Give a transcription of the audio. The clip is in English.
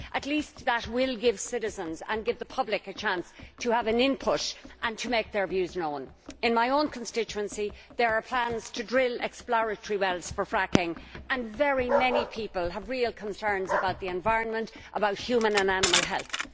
At least that will give citizens and the public a chance to have an input and to make their views known. In my own constituency, there are plans to drill exploratory wells for fracking and many people have real concerns about the environment and about human and animal health.